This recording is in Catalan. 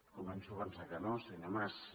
començo a pensar que no senyor mas